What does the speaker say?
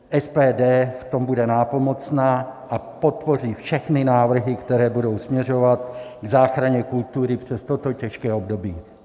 SPD v tom bude nápomocná a podpoří všechny návrhy, které budou směřovat k záchraně kultury přes toto těžké období.